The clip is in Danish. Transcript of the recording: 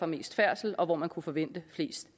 mest færdsel og hvor man kunne forvente de fleste